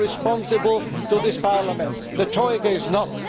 You are responsible to this Parliament the Troika is not.